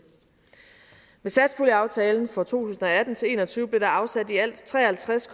med satspuljeaftalen for to og atten til en og tyve blev der afsat i alt tre og halvtreds